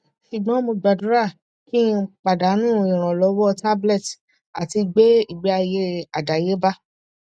sugbon mo gbadura ki padanu iranlowo tablet ati gbe igbeaye adayeba